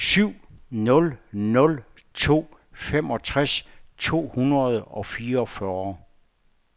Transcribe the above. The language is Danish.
syv nul nul to femogtres to hundrede og fireogfyrre